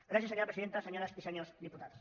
gràcies senyora presidenta senyores i senyors diputats